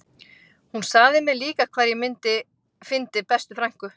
Hún sagði mér líka hvar ég fyndi bestu frænku